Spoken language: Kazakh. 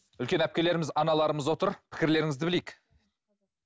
үлкен әпкелеріміз аналарымыз отыр пікірлеріңізді білейік